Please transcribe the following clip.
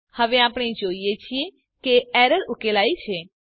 હવે આપણે જોઈએ છીએ કે એરર ઉકેલાઈ છે